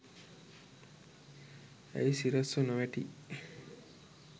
ඇයි සිරස්ව නොවැටි